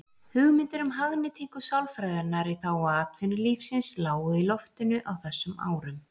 Hugmyndir um hagnýtingu sálfræðinnar í þágu atvinnulífsins lágu í loftinu á þessum árum.